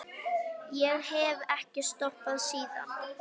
Ég hef ekki stoppað síðan.